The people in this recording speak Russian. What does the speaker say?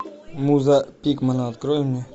муза пикмана открой мне